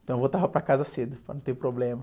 Então eu voltava para casa cedo, para não ter problema.